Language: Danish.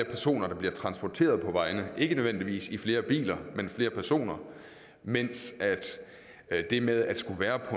personer der bliver transporteret på vejene ikke nødvendigvis i flere biler men flere personer mens det med at skulle være på